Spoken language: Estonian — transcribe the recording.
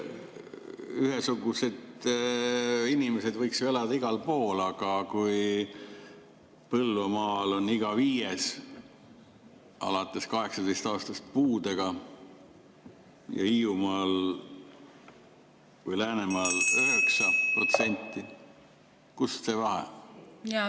Ühesugused inimesed võiksid elada igal pool, aga kui Põlvamaal on iga viies alates 18. eluaastast puudega ja Hiiumaal või Läänemaal 9%, siis kust see vahe?